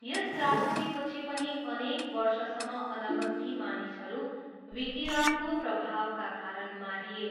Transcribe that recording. यस त्रासदीपछि पनि अनेक वर्षसम्म अनगन्ती मानिसहरू विकिरणको प्रभावका कारण मारिए।